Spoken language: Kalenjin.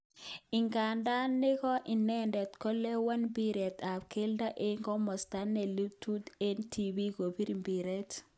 Idadan neko inedet kolewen mbiret ab keldo eng komosta ne lelut eng tibiik kobir mbiret.